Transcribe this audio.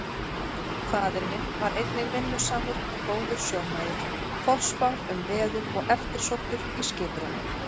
Faðir minn var einnig vinnusamur og góður sjómaður, forspár um veður og eftirsóttur í skiprúm.